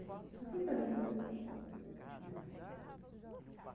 Está tudo ali. Não é